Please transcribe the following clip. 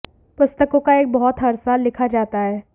पुस्तकों का एक बहुत हर साल लिखा जाता है